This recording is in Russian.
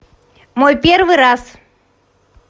мой первый раз